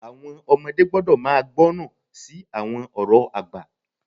Àwọn ọmọdé gbọ́dọ̀ máa gbọ́ràn sí àwọn ọ̀rọ̀ àgbà.